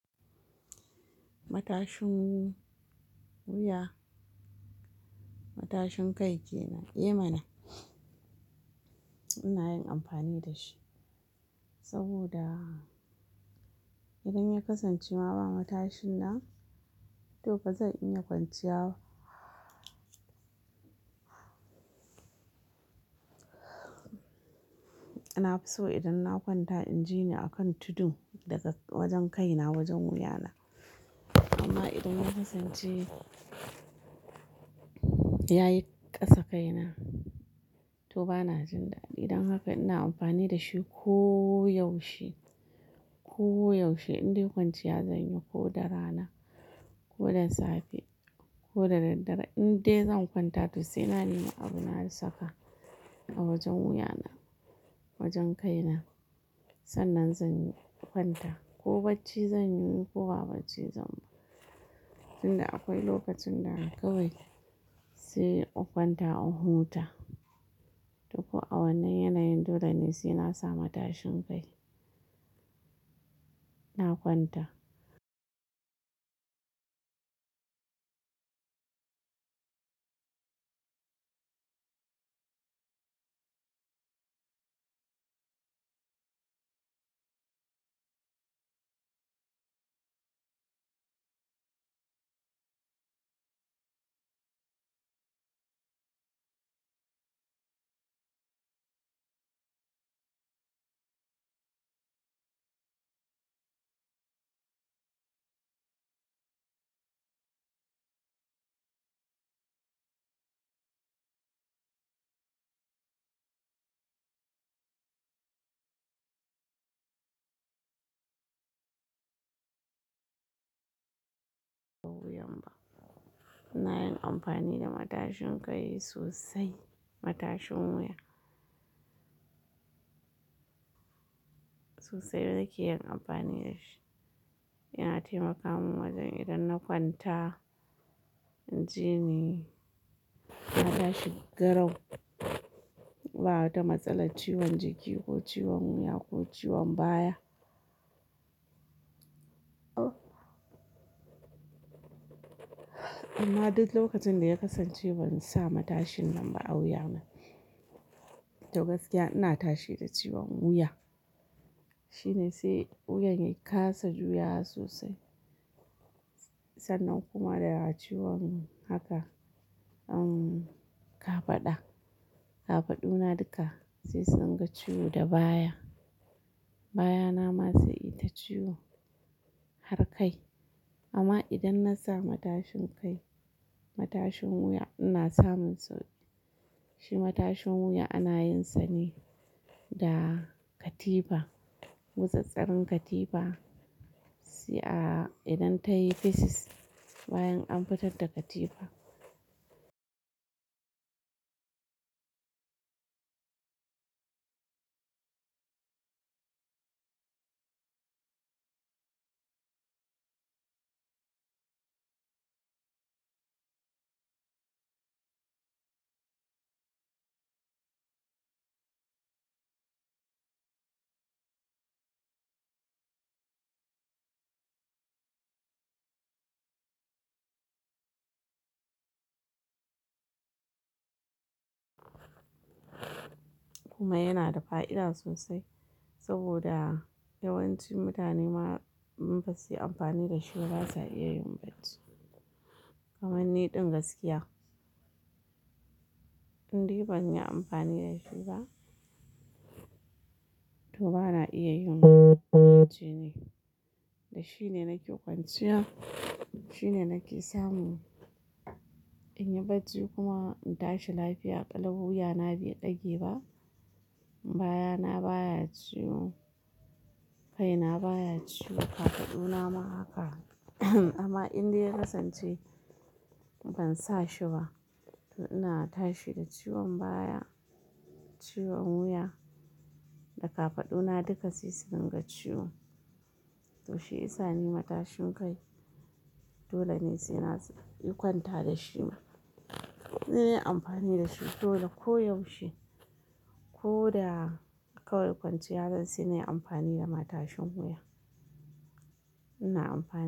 Matashin wu-wuya, matashin kai ke nan, eh mana. Ina yin amfani da shi saboda idan ya kasance ma ba matashin nan to ba zan iya kwanciya ba. Nafi so idan na kwanta in ji ni a kan tudu daga wajen kai na wajen wuya na. Amma idan ya kasance ya yi ƙasa kai na to bana jin daɗi. Don haka ina amfani da shi ko yaushe, ko yaushe indai kwanciya zan yi ko da rana ko da safe ko da daddare. Indai zan kwanta to sai na nema abin na saka a wajen wuya na, wajen kai na. Sannan zan yi kwanta ko bacci zan yi ko ba bacci zan ba. Tun da akwai lokacin da kawai sai in kwanta in huta. To ko a wannan yanayin dole ne sai na sa matashin kai. Na kwanta. Na yin amfani da matashin kai sosai. Matashin wuya. Sosai nake yin amfani da shi. Yana taimaka min wajen idan na kwanta in ji ni matashi garau. Ba wata matsala ciwon jiki ko ciwon wuya ko ciwon baya. Amma duk lokacin da ya kasance ban sa matashin nan ba a wuya na to gaskiya ina tashi da ciwon wuya. Shine sai wuyan ya kasa juya wa sosai. Sannan kuma da ciwon haka, umm, kafada. Kafadu na duka sai sun ga ciwo da baya. Bayana ma sai ita ciwo har kai. Amma idan na sa matashin kai, matashin wuya ina samun sauƙi. Shi matashin wuya ana yin sa ne da katifa. Mutsitsirin katifa. Sai a idan ta yi fesus bayan an fitar da katifa. Kuma yana da fa'ida sosai saboda yawanci mutane ma in ba su yi amfani da shi ba ba za su iya yin bacci. Kamanni ɗin gaskiya. Indai ban yi amfani da shi ba to ba na iya yin bacci ne. Da shine nake kwanciya. Shine nake samu in yi bacci kuma in tashi lafiya qalau. Wuya na bai dage ba. Bayana baya ciwo. Kai na baya ciwo. Kafadu na ma haka. Amma indai ya kasance ban sa shi ba to ina tashi da ciwon baya, ciwon wuya da kafadu na duka sai sun dunga ciwo. To shi isani matashin kai dole ne sai na sa yi kwanta da shi. Nayyi amfani da shi dole ko yaushe. Ko da kawai kwanciya zan yi sai na yi amfani da matashin wuya. Ina amfa.